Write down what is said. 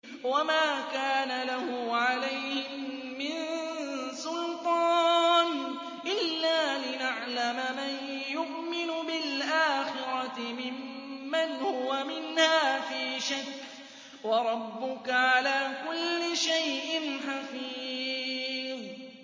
وَمَا كَانَ لَهُ عَلَيْهِم مِّن سُلْطَانٍ إِلَّا لِنَعْلَمَ مَن يُؤْمِنُ بِالْآخِرَةِ مِمَّنْ هُوَ مِنْهَا فِي شَكٍّ ۗ وَرَبُّكَ عَلَىٰ كُلِّ شَيْءٍ حَفِيظٌ